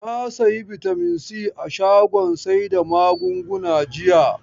Na sayi bitamin si a shagon sai da magunguna jiya.